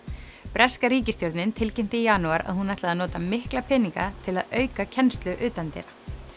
breska ríkisstjórnin tilkynnti í janúar að hún ætlaði að nota mikla peninga til að auka kennslu utandyra